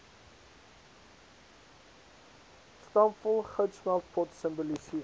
stampvol goudsmeltpot simboliseer